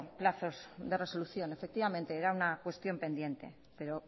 plazos de resolución efectivamente era una cuestión pendiente pero